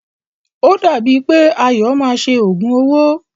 O dàbí è pé Ayọ̀ máa ṣe òògùn owó.